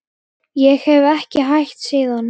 Ég hef ekki hætt síðan.